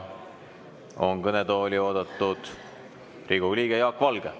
Kõnetooli on oodatud Riigikogu liige Jaak Valge.